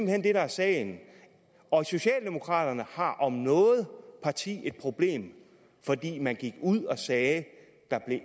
hen det der er sagen og socialdemokraterne har om noget parti et problem fordi man gik ud og sagde at der